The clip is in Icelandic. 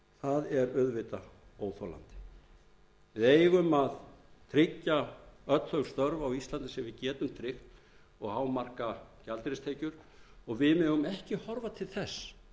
er auðvitað óþolandi við eigum að tryggja öll þau störf á íslandi sem við getum tryggt og hámarka gjaldeyristekjur og við megum ekki horfa til þess